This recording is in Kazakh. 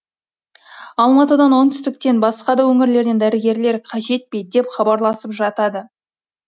алматыдан оңтүстіктен басқа да өңірлерден дәрігерлер қажет пе деп хабарласып жатады